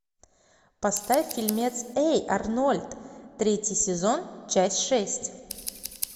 поставь фильмец эй арнольд третий сезон часть шесть